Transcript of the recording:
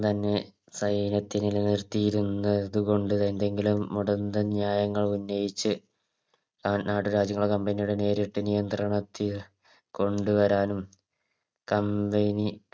ന്നെ സൈന്യത്തില് നിർത്തിയിരുന്നത് കൊണ്ടും എന്തെങ്കിലും മുടന്തൻ ന്യായങ്ങൾ ഉന്നയിച്ച് നാട്ടുരാജ്യങ്ങളും Company യുടെ നേരിട്ട് നിയന്ത്രണത്തിയ കൊണ്ടു വരാനും Company